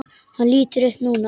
Hann lítur upp núna.